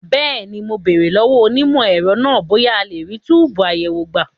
Bẹ́ẹ̀ni, mo béèrè lọ́wọ́ onímọ̀ ẹ̀rọ náà bóyá a lè rí túbùù àyẹ̀wò gbà.